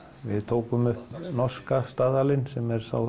við tókum upp norska staðalinn sem er sá